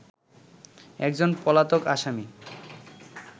একজন পলাতক আসামী